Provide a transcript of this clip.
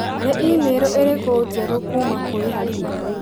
Nĩ i-mīrū ĩrikũ njerũ kuuma kũrĩ Halima